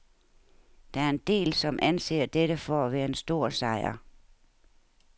Der er en del, som anser dette for at være en stor sejr.